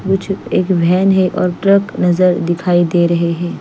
कुछ एक वेन है और एक ट्रक नजर दिखाई दे रहे है।